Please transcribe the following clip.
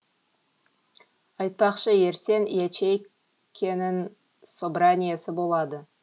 айтпақшы ертең ячейкенің собраниесі болады